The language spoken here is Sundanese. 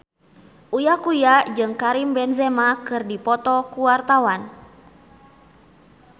Uya Kuya jeung Karim Benzema keur dipoto ku wartawan